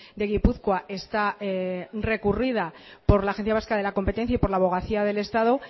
de gipuzkoa está recurrida por la agencia vasca de la competencia y por la abogacía del estado